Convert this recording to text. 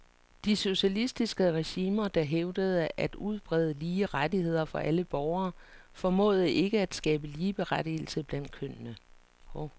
De socialistiske regimer, der hævdede at udbrede lige rettigheder for alle borgere, formåede ikke at skabe ligeberettigelse mellem kønnene.